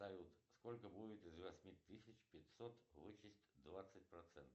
салют сколько будет из восьми тысяч пятьсот вычесть двадцать процентов